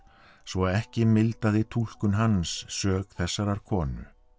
svo ekki mildaði túlkun hans sök þessarar konu